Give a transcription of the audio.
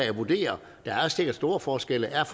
at vurdere der er sikkert store forskelle er